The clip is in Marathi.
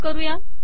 सेव्ह करू